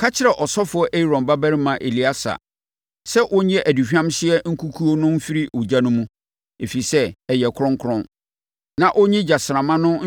“Ka kyerɛ ɔsɔfoɔ Aaron babarima Eleasa sɛ ɔnyi aduhwamhyeɛ nkukuo no mfiri ogya no mu, ɛfiri sɛ, ɛyɛ kronkron, na ɔnyi gyasramma no